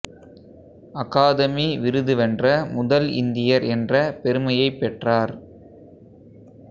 academy விருது வென்ற முதல் இந்தியர் என்ற பெருமையைப் பெற்றார்